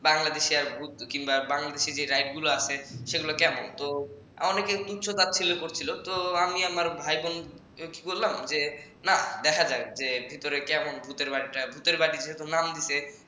বাংলাদেশের আর ভুত বাংলাদেশে যে ride গুলা আছে কেমন তো অনেকে তুচ্ছ তাচ্ছিল্য করছিল তো আমি আমার ভাই বোন তো কি করলাম না দেখা যাক ভিতরে কেমন ভূতের বাড়িটা ভূতের বাড়ি যেহেতু নাম দিছে